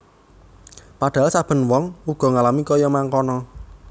Padhahal saben wong uga ngalami kaya mangkono